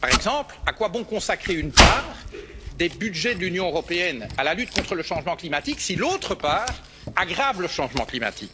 Par exemple, à quoi bon consacrer une part des budgets de l'Union européenne à la lutte contre le changement climatique si l'autre part aggrave le problème?